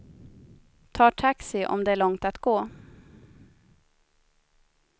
Tar taxi om det är långt att gå.